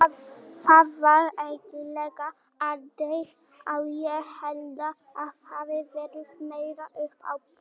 Það var eiginlega aldrei á, ég held það hafi verið meira upp á punt.